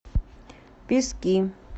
пески